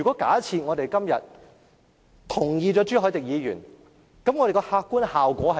假設我們今天贊同朱凱廸議員的議案，那會產生甚麼客觀效果呢？